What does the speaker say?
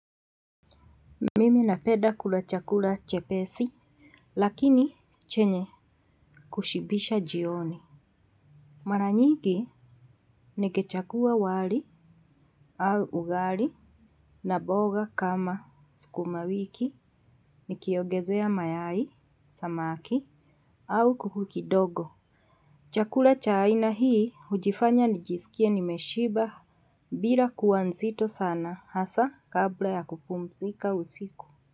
Mimi napeda kula chakula chepesi, lakini chenye kushibisha jioni. Mara nyingi, nikichagua wali au ugali na boga kama sukuma wiki nikiongezea mayai, samaki au kuku kidogo. Chakula cha aina hii hujifanya nijisikie nimeshiba bila kua nzito sana hasa kabla ya kupumzika usiku.